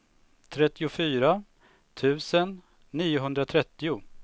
trettiofyra tusen niohundratrettio